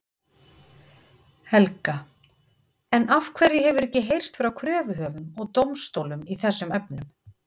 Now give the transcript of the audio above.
Helga: En af hverju hefur ekki heyrst frá kröfuhöfum og dómstólum í þessum efnum?